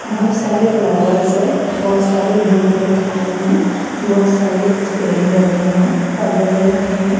बहोत सारे फ्लावर्स हैं बहोत सारे बूट रखे हुए हैं बहोत सारे पेन रखे हैं पलड़े रखे हैं।